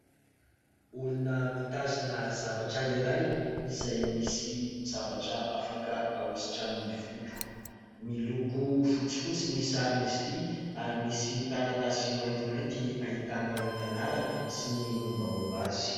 Olona mitazona zavatra iray izay misy zavatra afaka hahosotra amin'ny volo. Miloko fotsifotsy ny saron'izy ity ary misy taratasy maintimainty ahitana ny anarany sy ny mombamomba azy.